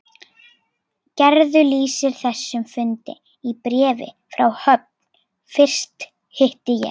Gerður lýsir þessum fundi í bréfi frá Höfn: Fyrst hitti ég